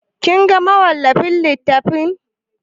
Kin ga mawallafin littafin?